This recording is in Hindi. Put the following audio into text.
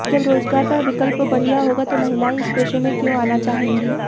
जब रोजगार का विकल्प बढ़िया होगा तो महिलायें इस पेशे में क्यों आना चाहेंगी